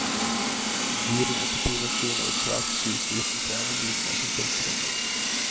En durende kopimaskin og et svakt sus utefra var lydene som fylte rommet.